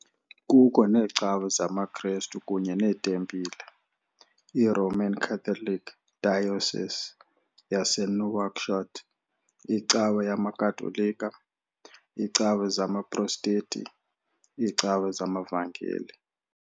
Kukho neecawa zamaKristu kunye neetempile- I-Roman Catholic Diocese yaseNouakchott, iCawa yamaKatolika, iicawa zamaProstenti, iiCawa zamaVangeli.